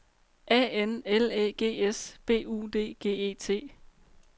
A N L Æ G S B U D G E T